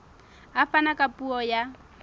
a fana ka puo ya